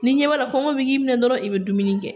N'i ɲɛ b'a la kɔngɔ b'i k'i minɛ dɔrɔn i bɛ dumuni kɛ.